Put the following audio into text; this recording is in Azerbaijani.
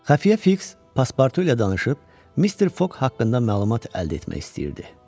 Xəfiyə Fiks paspartu ilə danışıb Mister Foq haqqında məlumat əldə etmək istəyirdi.